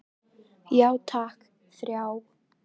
Já takk, þrjá.